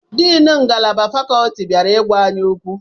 Deni ngalaba fakuti bịara igwa anyị okwu